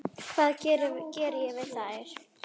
Hvað ég geri við þær?